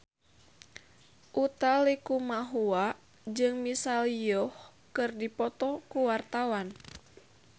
Utha Likumahua jeung Michelle Yeoh keur dipoto ku wartawan